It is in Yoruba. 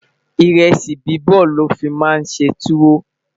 iresi bibọ lofi má n ṣé tuwo